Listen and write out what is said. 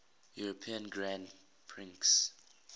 european grand prix